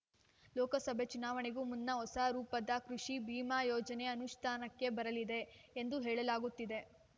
ಲೋಕಸಭೆ ಚುನಾವಣೆಗೂ ಮುನ್ನ ಹೊಸ ರೂಪದ ಕೃಷಿ ಭೀಮಾ ಯೋಜನೆ ಅನುಷ್ಠಾನಕ್ಕೆ ಬರಲಿದೆ ಎಂದು ಹೇಳಲಾಗುತ್ತಿದೆ